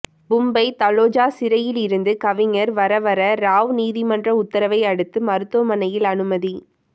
மும்பை தலோஜா சிறையில் இருந்த கவிஞர் வரவர ராவ் நீதிமன்ற உத்தரவை அடுத்து மருத்துவமனையில் அனுமதி